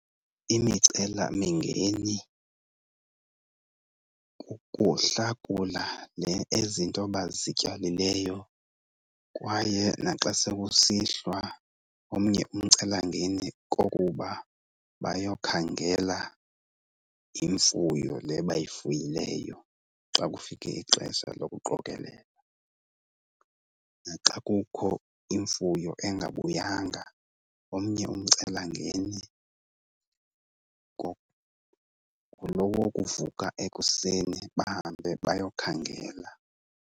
Imicelamingeni kukuhlakula nhe ezinto bazityalileyo. Kwaye naxa sekusihlwa omnye umcelangeni kokuba bayokhangela imfuyo le bayifuyileyo xa kufike ixesha lokuqokelela. Naxa kukho imfuyo engabuyanga, omnye umcelangeni ngulo wokuvuka ekuseni bahambe bayokhangela.